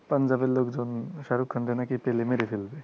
পাঞ্জাবের লোকজন শাহরুখ খানরে নাকি পেলে মেরে ফেলবেI